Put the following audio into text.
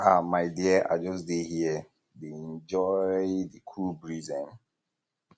um my dear i just dey here dey um enjoy the cool breeze um